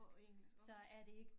På engelsk okay